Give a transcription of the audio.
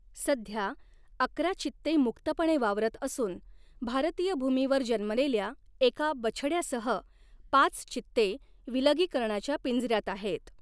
सध्या, अकरा चित्ते मुक्तपणे वावरत असून भारतीय भूमीवर जन्मलेल्या एका बछड्यासह पाच चित्ते विलगीकरणाच्या पिंजऱ्यात आहेत.